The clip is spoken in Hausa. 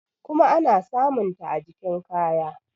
kuma ana samunta a jikn kaya